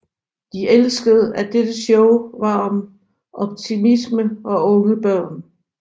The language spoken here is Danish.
De elskede at dette show var om optimisme og unge børn